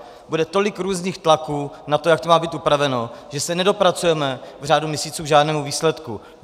Bude tolik různých tlaků na to, jak to má být upraveno, že se nedopracujeme v řádu měsíců k žádnému výsledku.